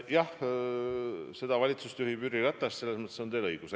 Jah, seda valitsust juhib Jüri Ratas, selles mõttes on teil õigus.